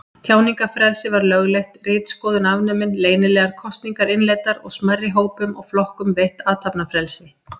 Tjáningarfrelsi var lögleitt, ritskoðun afnumin, leynilegar kosningar innleiddar og smærri hópum og flokkum veitt athafnafrelsi.